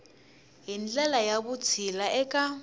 hi ndlela ya vutshila eka